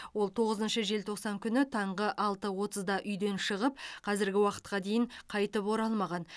ол тоғызыншы желтоқсан күні таңғы алты отызда үйден шығып қазіргі уақытқа дейін қайтып оралмаған